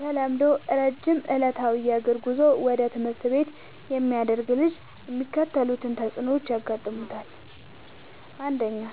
በተለምዶ ረጅም ዕለታዊ የእግር ጉዞ ወደ ትምህርት ቤት የሚያደርግ ልጅ የሚከተሉት ተጽዕኖዎች ያጋጥሙታል። ፩.